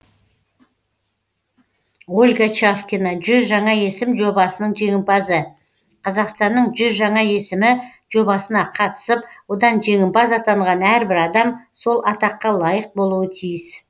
ольга чавкина жүз жаңа есім жобасының жеңімпазы қазақстанның жүз жаңа есімі жобасына қатысып одан жеңімпаз атанған әрбір адам сол атаққа лайық болуы тиіс